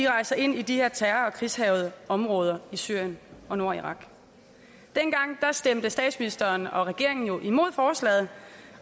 rejser ind i de her terror og krigshærgede områder i syrien og nordirak dengang stemte statsministeren og regeringen imod forslaget